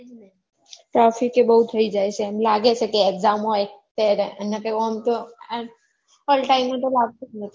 traffic એ બૌ થઇ જાય છે લાગે છે કે exam હોય છે નકર આમ તો all time એ તો લાગતું જ નથી